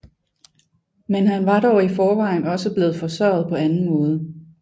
Men han var dog i forvejen også blevet forsørget på anden måde